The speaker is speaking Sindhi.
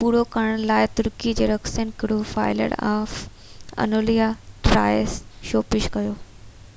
پورو ڪرڻ لاءِ ترڪي جي رقص گروه fire of Anatolia Troy show پيش ڪيو